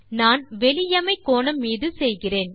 நான் வெளியமை கோணம் மீது செய்கிறேன்